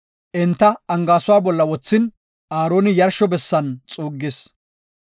enti angaaysuwa bolla wothin, Aaroni yarsho bessan xuuggis.